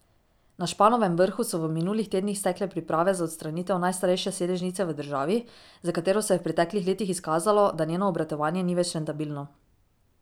Na Španovem vrhu so v minulih tednih stekle priprave za odstranitev najstarejše sedežnice v državi, za katero se je v preteklih letih izkazalo, da njeno obratovanje ni več rentabilno.